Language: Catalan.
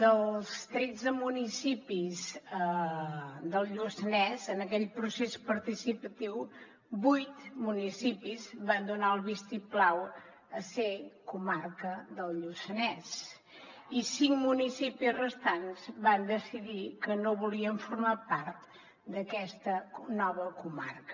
dels tretze municipis del lluçanès en aquell procés participatiu vuit municipis van donar el vistiplau a ser comarca del lluçanès i cinc municipis restants van decidir que no volien formar part d’aquesta nova comarca